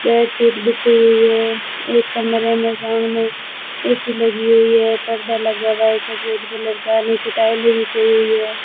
Bedsheet बीछी हुई हुए हैं एक कमरे में सामने ए_सी लगी हुई है पर्दा लगा हुआ है सफेद कलर का नीचे टाइलें बिछी हुईं हैं।